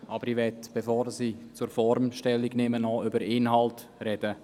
Aber bevor ich zur Form Stellung nehme, möchte ich über den Inhalt sprechen.